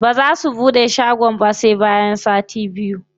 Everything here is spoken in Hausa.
Baza su buɗe shagon ba sai bayan sati biyu.